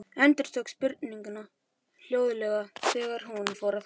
Endurtók spurninguna hljóðlega þegar hún fór að gráta.